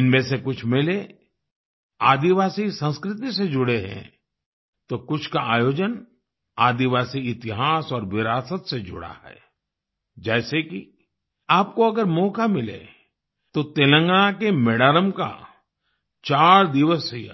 इनमें से कुछ मेले आदिवासी संस्कृति से जुड़े हैं तो कुछ का आयोजन आदिवासी इतिहास और विरासत से जुड़ा है जैसे कि आपको अगर मौका मिले तो तेलंगाना के मेडारम का चार दिवसीय